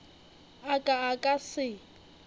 a ka a ka se